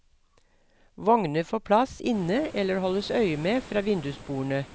Vogner får plass inne eller holdes øye med fra vindusbordene.